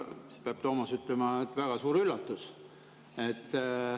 See on, Toomas, peab ütlema, väga suur üllatus.